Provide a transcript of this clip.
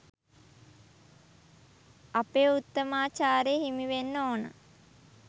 අපේ උත්තමාචාරය හිමිවෙන්න ඕන.